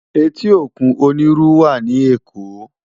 Éti ókún ónirú wá ni Ékó